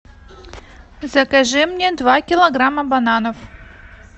закажи мне два килограмма бананов